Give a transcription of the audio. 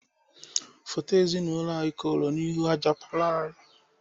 Foto ezinaụlọ anyị koro n'ahụ aja palọ anyị.